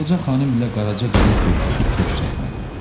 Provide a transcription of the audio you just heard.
Ağaca xanım ilə Qaraca qızın söhbəti çox çəkmədi.